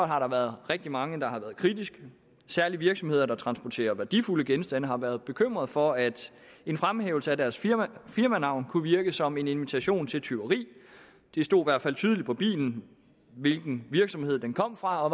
har der været rigtig mange der har været kritiske særligt virksomheder der transporterer værdifulde genstande har været bekymrede for at en fremhævelse af deres firmanavn kunne virke som en invitation til tyveri det står i hvert fald tydeligt på bilen hvilken virksomhed den kommer fra og